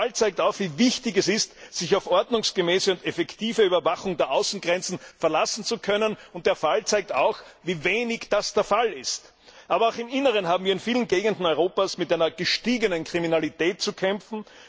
Der Fall zeigt auf, wie wichtig es ist, sich auf eine ordnungsgemäße und effektive Überwachung der Außengrenzen verlassen zu können, aber auch, wie wenig das der Fall ist! Auch im Inneren haben wir in vielen Gegenden Europas mit einer gestiegenen Kriminalität zu kämpfen.